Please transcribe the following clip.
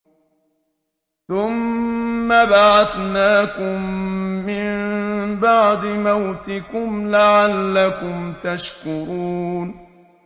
ثُمَّ بَعَثْنَاكُم مِّن بَعْدِ مَوْتِكُمْ لَعَلَّكُمْ تَشْكُرُونَ